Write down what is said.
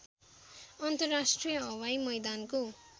अन्तर्राष्ट्रिय हवाई मैदानको